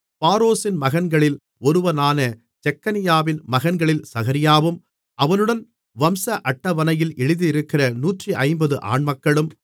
பாரோஷின் மகன்களில் ஒருவனான செக்கனியாவின் மகன்களில் சகரியாவும் அவனுடன் வம்ச அட்டவணையில் எழுதியிருக்கிற 150 ஆண்மக்களும்